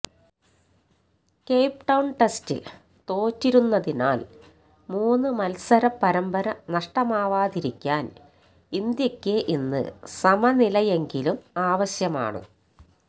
Cape Town ടെസ്റ്റില് തോറ്റിരുന്നതിനാല് മൂന്നു മത്സര പരമ്പര നഷ്ടമാവാതിരിക്കാന് ഇന്ത്യക്ക് ഇന്ന് സമനിലയെങ്കിലും ആവശ്യമാണ്